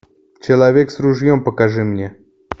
человек с ружьем покажи мне